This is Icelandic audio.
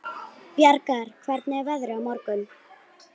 Bjargar, hvernig er veðrið á morgun?